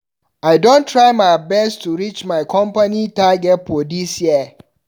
I dey try my best to reach my company target for dis year.